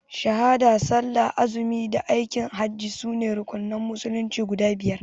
Shahada, Sallah, Zakkah, Azumi da Aikin hajji sune rukunan musulunci guda biyar.